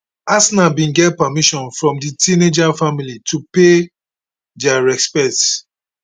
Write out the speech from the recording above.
arsenal bin get permission from di teenager family to pay dia respects